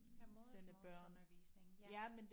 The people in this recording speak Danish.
Have modersmålsundervisning ja